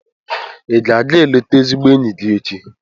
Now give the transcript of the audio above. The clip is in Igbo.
Ị ga-aga eleta ezigbo enyi gị echi?